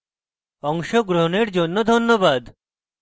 অংশগ্রহনের জন্য ধন্যবাদ